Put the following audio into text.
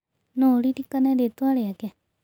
No ũririkane rĩĩtwa rĩake?